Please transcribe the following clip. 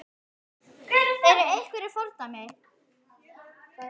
Eru einhver fordæmi?